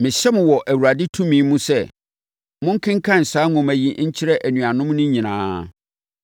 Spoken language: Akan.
Mehyɛ mo wɔ Awurade tumi mu sɛ monkenkan saa nwoma yi nkyerɛ anuanom no nyinaa.